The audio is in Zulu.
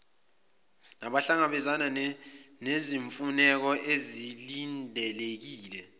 nabahlangabezana nezimfuneko ezilindelekile